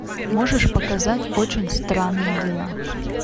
можешь показать очень странные дела